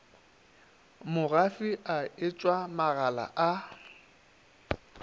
mogafi a etshwa magala a